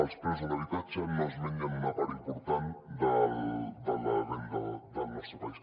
els preus de l’habitatge no es mengen una part important de la renda del nostre país